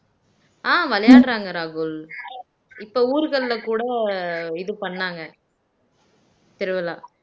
ஆஹ் விளையாடுறாங்க ராகுல் இப்ப ஊர்கள்ல கூட இது பண்ணாங்க திருவிழா